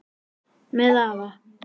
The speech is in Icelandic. Með afa